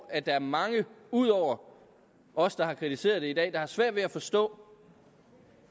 at der er mange ud over os der har kritiseret det i dag der har svært ved at forstå